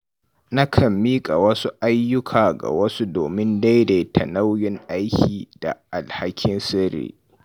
Na kan mika wasu ayyuka ga wasu domin daidaita nauyin aiki da alhakin sirri.